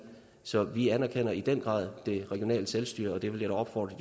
så vi anerkender i den grad det regionale selvstyre og det vil jeg da opfordre